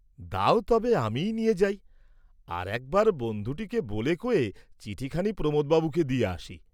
দাও তবে আমিই নিয়ে যাই, আর একবার বন্ধু টীকে ব’লে ক’য়ে চিঠি খানি প্রমোদ বাবুকে দিয়ে আসি।